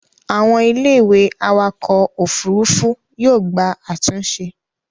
àwọn Ilé ìwé awakọ̀ òfurufú yóò gba àtúnṣe